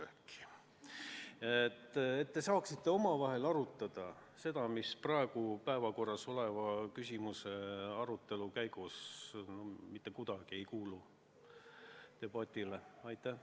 Siis te saaksite omavahel arutada teemat, mis praegu päevakorras oleva eelnõu sisu arvestades mitte kuidagi ei kuulu debati alla.